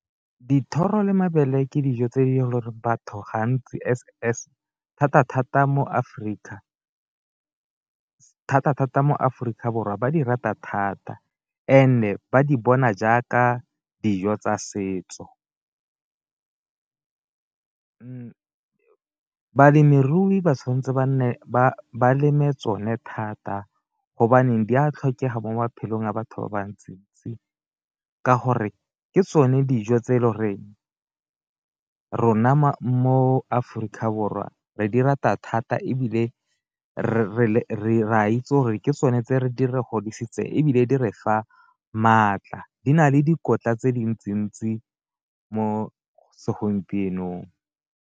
Dithoro le mabele ke dijo tse e le goreng batho gantsi thata-thata mo Aforika thata-thata mo Aforika Borwa ba di rata thata, and-e ba di bona jaaka dijo tsa setso. Balemirui ba tshwanetse ba nne ba leme tsone thata di a tlhokega mo maphelong a batho ba bantsi-ntsi, ka gore ke tsone dijo tse e le goreng ke rona mo Aforika Borwa re di rata thata ebile re a itse gore ke tsone tse di re godisitseng ebile di re fa maatla di na le dikotla tse dintsi-ntsi mo segompienong.